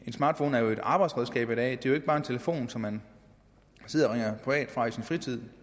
smartphone er jo et arbejdsredskab i dag det er jo ikke bare en telefon som man sidder og ringer privat fra i sin fritid